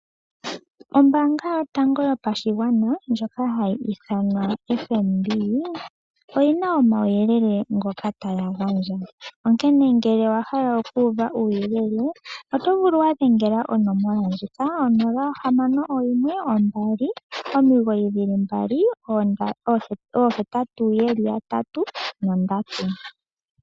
Ombaanga yotango yopashigwana ndjoka hayi ithanwa FNB oyi na omauyelele ngoka taga gandjwa, onkene ngele owa hala okuuva uuyelele oto vulu okudhengela konomola ndjika: 0612998883.